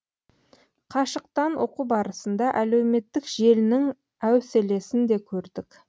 қашықтан оқу барысында әлеуметтік желінің әуселесін де көрдік